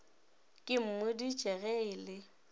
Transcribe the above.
ke mmoditše ge e le